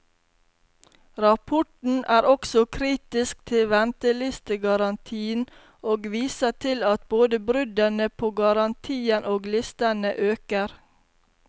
Rapporten er også kritisk til ventelistegarantien, og viser til at både bruddene på garantien og listene øker.